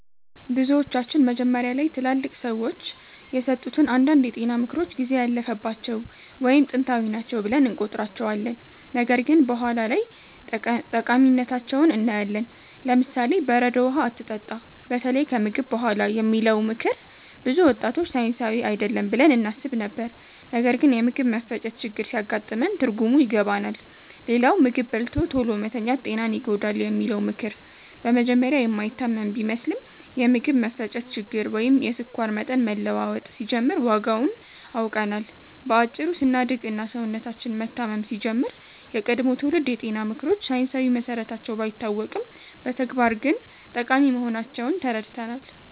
ብዙዎቻችን መጀመሪያ ላይ ትላልቅ ሰዎች የሰጡትን አንዳንድ የጤና ምክሮች ጊዜ ያለፈባቸው ወይም ጥንታዊ ናቸው ብለን እንቆጥራቸዋለን፣ ነገር ግን በኋላ ላይ ጠቃሚነታቸውን እናያለን። ለምሳሌ፦ "በረዶ ውሃ አትጠጣ፣ በተለይ ከምግብ በኋላ" የሚለው ምክር ብዙ ወጣቶች ሳይንሳዊ አይደለም ብለን እናስብ ነበር፣ ነገር ግን የምግብ መፈጨት ችግር ሲያጋጥመን ትርጉሙን ይገባናል። ሌላው "ምግብ በልቶ ቶሎ መተኛት ጤናን ይጎዳል" የሚለው ምክር በመጀመሪያ የማይታመን ቢመስልም፣ የምግብ መፈጨት ችግር ወይም የስኳር መጠን መለዋወጥ ሲጀምር ዋጋውን አውቀናል። በአጭሩ ስናድግ እና ሰውነታችን መታመም ሲጀምር፣ የቀድሞ ትውልድ የጤና ምክሮች ሳይንሳዊ መሰረታቸው ባይታወቅም በተግባር ግን ጠቃሚ መሆናቸውን ተረድተናል።